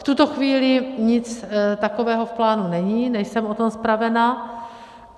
V tuto chvíli nic takového v plánu není, nejsem o tom zpravena.